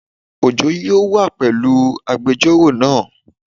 Ojo yóò wá pẹ̀lú agbẹjọ́rò naa